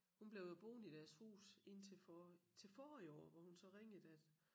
Hun blev jo boende i deres hus indtil for til forrige år hvor hun så ringede at